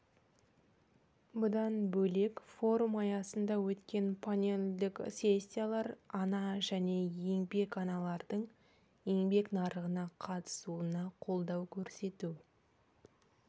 бұдан бөлек форум аясында өткен панельдік сессиялар ана және еңбек аналардың еңбек нарығына қатысуына қолдау көрсету